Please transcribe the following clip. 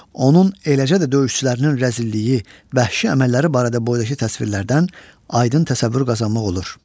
Onun eləcə də döyüşçülərinin rəzilliyi, bəhşi əməlləri barədə boydakı təsvirlərdən aydın təsəvvür qazanmaq olur.